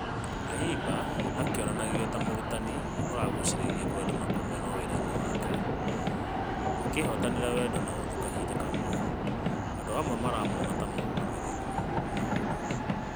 Ũna atimba akĩonanagio ta mũrutani ũragucirie kwendwo na kũmenwo werainĩ wake akĩhotanĩra wendo na ũthũ kahinda kamwe , amonde aramuona ta mũgarũri maũndũ.